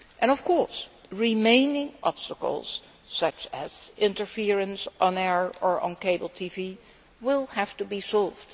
Of course, remaining obstacles such as interference on air or on cable TV will have to be solved